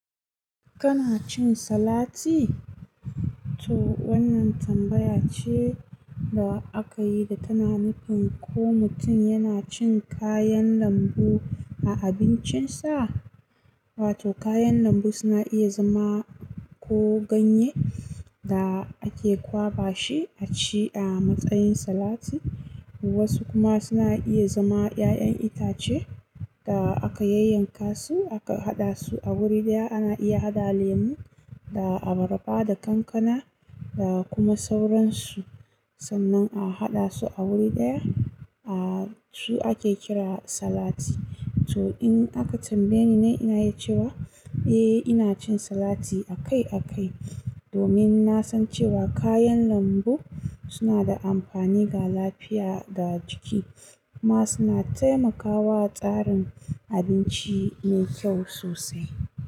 Kana cin salati? To wannan tambaya ce da aka yi da tana nufin ko mutum yana cin kayan lambu a abincinsa. Wato kayan lambu suna iya zama ko ganye da ake kwaɓa shi a ci a matsayin salati. Wasu kuma suna iya zama ƴaƴan itace da aka yayyanka su aka haɗa su a wuri ɗaya. Ana iya haɗa lemu da abarba da kankana da kuma sauransu. Sannan a haɗa su a wuri ɗaya. A su ake kira salati. To in aka tambaye ni na ina ya cewa eh ina cin salati akai akai domin na san cewa kayan lambu suna da amfani ga lafiya da jiki kuma suna taimakawa tsarin abinci mai kyau sosai.